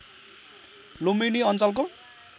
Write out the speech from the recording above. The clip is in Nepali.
लुम्बिनी अञ्चलको